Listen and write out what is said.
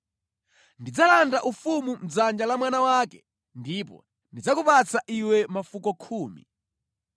Ndidzalanda ufumu mʼdzanja la mwana wake ndipo ndidzakupatsa iwe mafuko khumi.